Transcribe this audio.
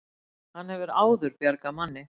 Hann hefur áður bjargað manni